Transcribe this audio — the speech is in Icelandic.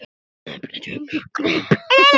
Þær geta því ekki kulnað.